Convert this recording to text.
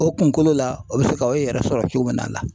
O kunkolo la o bɛ se ka o yɛrɛ sɔrɔ co min na la